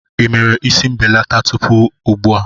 Ị mere isi mbelata tupu ugbu a?